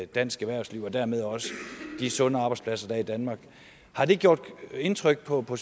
dansk erhvervsliv og dermed også de sunde arbejdspladser der er i danmark har det gjort indtryk på på